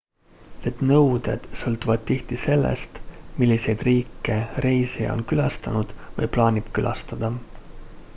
need nõuded sõltuvad tihti sellest milliseid riike reisija on külastanud või plaanib külastada